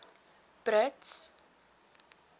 brits